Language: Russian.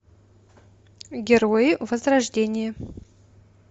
герои возрождение